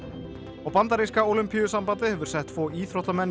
og bandaríska Ólympíusambandið hefur sett tvo íþróttamenn í